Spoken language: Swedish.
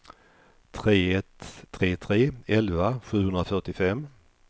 tre ett tre tre elva sjuhundrafyrtiofem